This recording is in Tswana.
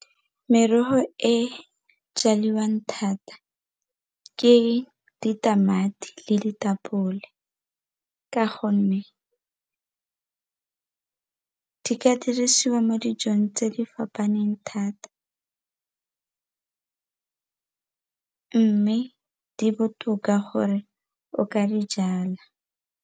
Merogo e jaliwang thata ke ditamati le ditapole ka gonne di ka dirisiwa mo dijong tse di fapaneng thata mme di botoka gore o ka di jala.